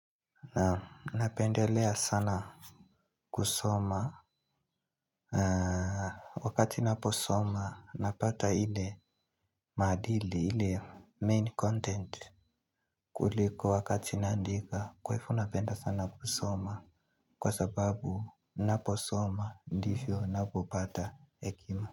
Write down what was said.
Na napendelea sana kusoma. Wakati ninaposoma napata ile maadili ile 'main content'. Kuliko wakati naandika kwa hivyo napenda sana kusoma kwa sababu ninaposoma ndivyo ninapopata hekima.